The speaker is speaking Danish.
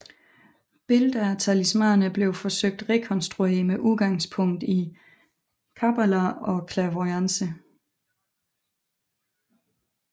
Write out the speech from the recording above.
Billeder af talismaner blev forsøgt rekonstrueret med udgangspunkt i Kabbala og clairvoyance